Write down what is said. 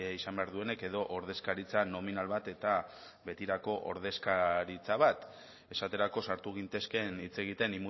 izan behar duenik edo ordezkaritza nominal bat eta betirako ordezkaritza bat esaterako sartu gintezkeen hitz egiten